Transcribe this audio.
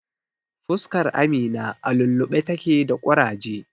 Fuskar Amina a lulluɓe take da ƙuraje.